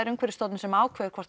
Umhverfisstofnun sem ákveður hvort